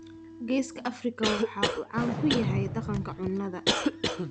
Geeska Afrika waxa uu caan ku yahay dhaqanka cunnada,